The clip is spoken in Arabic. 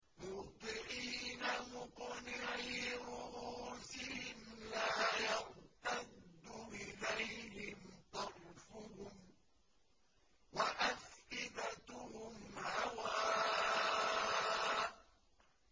مُهْطِعِينَ مُقْنِعِي رُءُوسِهِمْ لَا يَرْتَدُّ إِلَيْهِمْ طَرْفُهُمْ ۖ وَأَفْئِدَتُهُمْ هَوَاءٌ